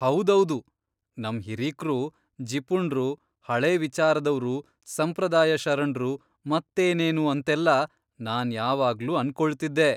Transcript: ಹೌದೌದು! ನಮ್ ಹಿರೀಕ್ರು ಜಿಪುಣ್ರು, ಹಳೇ ವಿಚಾರದವ್ರು, ಸಂಪ್ರದಾಯಶರಣ್ರು ಮತ್ತೇನೇನೂ ಅಂತೆಲ್ಲಾ ನಾನ್ ಯಾವಾಗ್ಲೂ ಅನ್ಕೊಳ್ತಿದ್ದೆ.